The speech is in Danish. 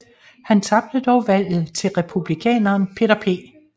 Han tabte dog valget til Republikaneren Peter P